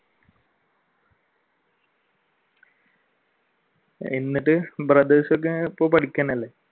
എന്നിട്ട് brothers ഒക്കെ ഇപ്പൊ പഠിക്കുക തന്നെയല്ലേ?